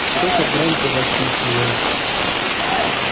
что-что громко воскликнул он